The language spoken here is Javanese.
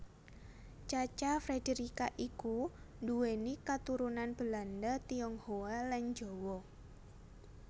Cha Cha Frederica iku nduwéni katurunan Belanda Tionghoa lan Jawa